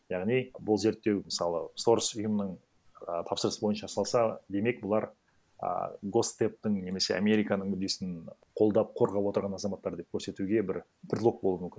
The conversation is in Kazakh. яғни бұл зерттеу мысалы сорос ұйымының і тапсырысы бойынша салса демек бұлар а госдептің немесе американың мүддесін қолдап қорғап отырған азаматтар деп көрсетуге бір предлог болуы мүмкін